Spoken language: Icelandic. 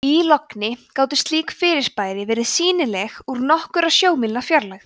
í logni gátu slík fyrirbæri verið sýnileg úr nokkurra sjómílna fjarlægð